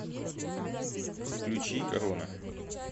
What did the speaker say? включи корона